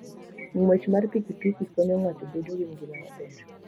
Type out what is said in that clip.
Ng'wech mar pikipiki konyo ng'ato bedo gi ngima maber.